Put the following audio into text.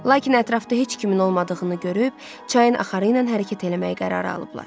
Lakin ətrafda heç kimin olmadığını görüb çayın axarı ilə hərəkət eləməyə qərar alıblar.